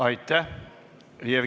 Aitäh!